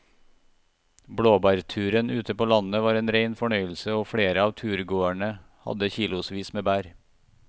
Blåbærturen ute på landet var en rein fornøyelse og flere av turgåerene hadde kilosvis med bær.